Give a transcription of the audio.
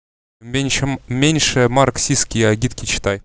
меньше меньше марксистские агитки читай